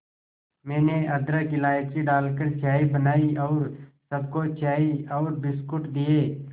मैंने अदरक इलायची डालकर चाय बनाई और सबको चाय और बिस्कुट दिए